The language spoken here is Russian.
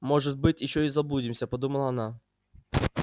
может быть ещё и заблудимся подумала она